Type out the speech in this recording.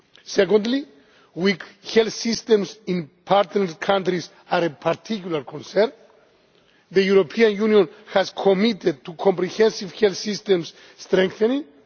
Secondly, weak health systems in partner countries are a particular concern. The European Union has committed to comprehensive health systems' strengthening